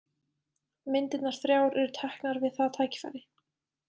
Myndirnar þrjár eru teknar við það tækifæri.